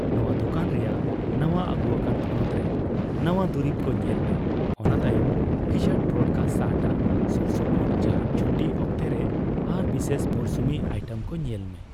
ᱱᱚᱣᱟ ᱫᱚᱠᱟᱱ ᱨᱮᱭᱟᱜ ᱱᱟᱣᱟ ᱟᱜᱩᱟᱠᱟᱱ ᱛᱷᱚᱱᱚᱛ ᱨᱮ ᱱᱟᱣᱟ ᱫᱩᱨᱤᱵᱽ ᱠᱚ ᱧᱮᱞ ᱢᱮ, ᱚᱱᱟ ᱛᱟᱭᱚᱢ ᱯᱷᱤᱪᱟᱨᱰ ᱯᱨᱳᱰᱠᱟᱥ ᱥᱟᱦᱴᱟ, ᱥᱩᱨᱥᱩᱯᱩᱨ ᱡᱟᱦᱟᱸᱱ ᱪᱷᱩᱴᱤ ᱚᱠᱛᱮᱨᱮ ᱟᱨ ᱵᱤᱥᱮᱥ ᱢᱩᱨᱥᱩᱢᱤ ᱟᱭᱴᱮᱢᱠᱚ ᱧᱮᱞᱢᱮ ᱾